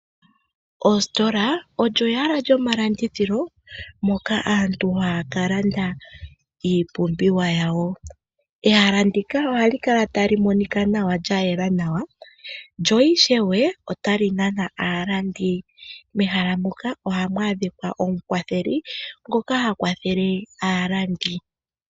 Oositola odho ehala lyomalandithilo moka aantu haya kalanda iipumbiwa yawo. Ehala ndika ohalikama tali monika nawa lyayela nawa lyo ishewe ohali nana aalandi. Mehala muka ohamu adhika omukwatheli ngoka hakwathele aalandi.